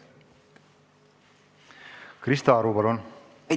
Krista Aru, palun!